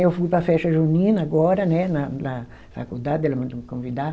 Eu fui para a festa junina agora, né na lá faculdade, ela mandou me convidar.